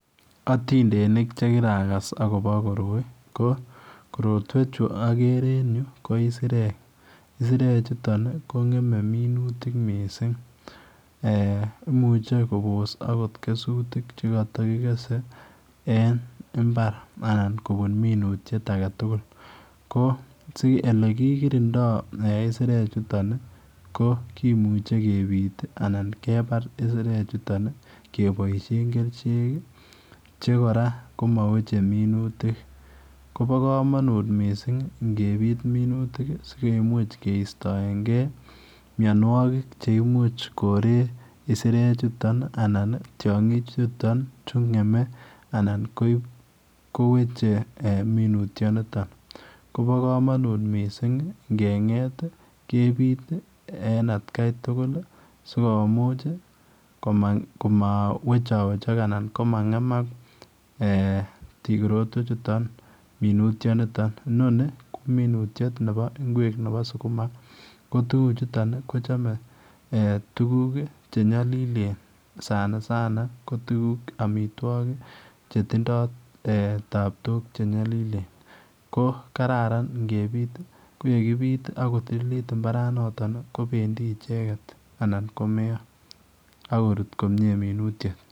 Atindeniik che kiragas agobo koroi ko korotwechuu agere en Yuu ko isireek, isireek chutoon ii ko ngemei minutik missing eeh imuche akoot Kobos kesutiik che kata kigese en mbar ii anan kobuun minutiet age tugul, ko elekirindai isireek chutoon ii ko kimuchei kebiit ii anan kebae isireek chutoon ii kebaisheen kercheek ii che kora chema wechei minutiik ,kobaa kamanuut missing ingebiit minutik sikomuuch sikeistoenkei mianwagik cheimuuch koreet isireek chutoon ii anan tiangiik chutoon chuu ngemei anan kowechei minutiet nitoon, kobaa kamanuut missing inge ngeet ii kebiit ii en at gai tugul ii sikomuuch ii komaa wechawechaag anan ko ma ngemaak eeh korotwech chutoon minutiet nitoon, inoni ko minutiet nebo ngweek nebo sukuma ko tuguuk chutoon ii kochame tuguuk che nyalilen Sana sana ko amitwagiik che tindoo taptook che nyalilen ko kararan ingebíit ko yekibiit ii mbaran notoon kobendii ichegeet anan ko meyaa akorut komyei minutiet.